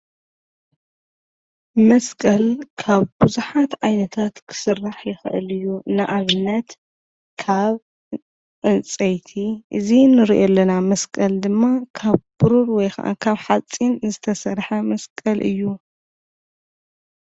መስቀል ካብ ብዙሓት ዓይነታት ክስራሕ ይካአል እዩ። ንኣብነት ካብ ዕንፀይቲ እዚ ንርእዮ ዘለናመስቀል ድማ ካብ ቡሩር ወይከዓ ካብ ሓፂን ዝተሰርሐ መስቀል እዩ።